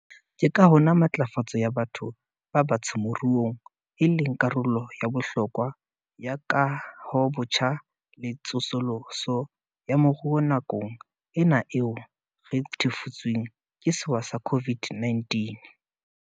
Ke ka hona matlafatso ya batho ba batsho moruong e leng karolo ya bohlokwa ya kahobotjha le tsosoloso ya moruo nakong ena eo re thefutsweng ke sewa sa COVID-19.